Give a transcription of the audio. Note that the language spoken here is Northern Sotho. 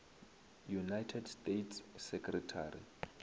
united states secretary